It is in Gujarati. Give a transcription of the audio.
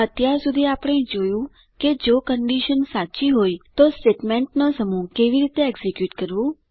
અત્યાર સુધી આપણે જોયું કે જો કન્ડીશન સાચી હોય તો સ્ટેટમેન્ટનો સમૂહ કેવી રીતે એક્ઝીક્યુટ કરવું